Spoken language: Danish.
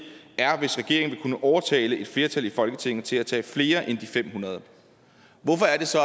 er vil kunne overtale et flertal i folketinget til at tage flere end de fem hundrede hvorfor er det så